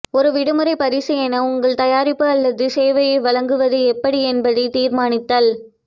ஒரு விடுமுறை பரிசு என உங்கள் தயாரிப்பு அல்லது சேவையை வழங்குவது எப்படி என்பதை தீர்மானித்தல்